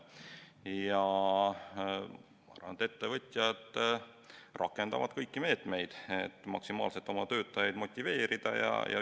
Ma arvan, et ettevõtjad rakendavad kõiki meetmeid, et maksimaalselt oma töötajaid motiveerida.